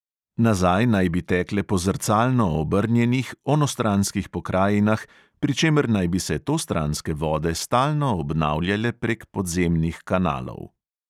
Nazaj naj bi tekle po zrcalno obrnjenih, onostranskih pokrajinah, pri čemer naj bi se tostranske vode stalno obnavljale prek podzemnih kanalov.